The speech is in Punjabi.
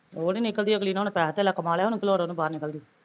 ਉਹ ਨੀ ਨਿਕਲਦੀ ਅਗਲੀ ਨੇ ਹੁਣ ਪੈਸਾ ਤੇਲਾ ਕਮਾ ਲਿਆ ਹੁਣ ਕੀ ਲੋੜ ਉਹਨੂੰ ਬਾਹਰ ਨਿਕਲਣ ਦੀ